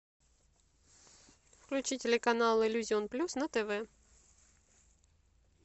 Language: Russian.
включи телеканал иллюзион плюс на тв